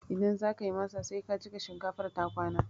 Idan zakayi masa, sai ka jiƙa shinkafar ta kwana